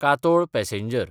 Katol passenger